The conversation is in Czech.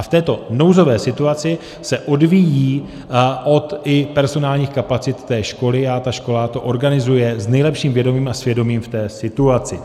A v této nouzové situaci se odvíjejí i od personálních kapacit té školy a ta škola to organizuje s nejlepším vědomím a svědomím v té situaci.